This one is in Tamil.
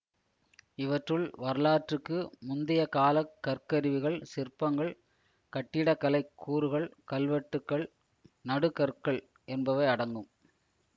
இவற்றுள் வரலாற்றுக்கு முந்தியகாலக் கற்கருவிகள் சிற்பங்கள் கட்டிடக்கலைக் கூறுகள் கல்வெட்டுக்கள் நடுகற்கள் என்பவை அடங்கும்